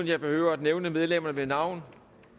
jeg behøver at nævne medlemmerne ved navn